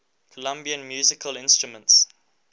colombian musical instruments